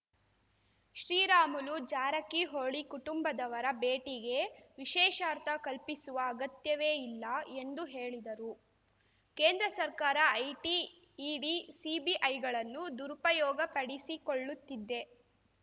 ಶ್ರೀರಾಮುಲುಜಾರಕಿಹೊಳಿ ಕುಟುಂಬದವರ ಭೇಟಿಗೆ ವಿಶೇಷಾರ್ಥ ಕಲ್ಪಿಸುವ ಅಗತ್ಯವೇ ಇಲ್ಲ ಎಂದು ಹೇಳಿದರು ಕೇಂದ್ರ ಸರ್ಕಾರ ಐಟಿ ಇಡಿ ಸಿಬಿಐಗಳನ್ನು ದುರುಪಯೋಗಪಡಿಸಿಕೊಳ್ಳುತ್ತಿದ್ದೆ